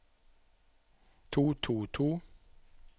to to to